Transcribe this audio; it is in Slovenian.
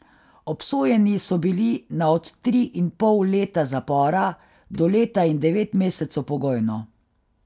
Obsojeni so bili na od tri in pol leta zapora do leta in devet mesecev pogojno.